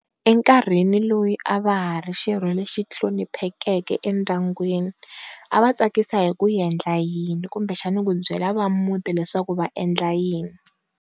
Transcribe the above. Enkarhini loyi a va ha ri xirho lexi hloniphekeke endyangwini, a va tsakisa hi ku endla yini kumbe va byela va a muti leswaku va endla yini.